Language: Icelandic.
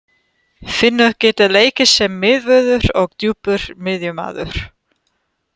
Finnur getur leikið sem miðvörður og djúpur miðjumaður.